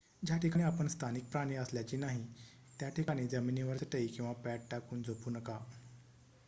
ज्या ठिकाणी आपण स्थानिक प्राणी असल्याची नाही त्या ठिकाणी जमिनीवर चटई किंवा पॅड टाकून झोपू नका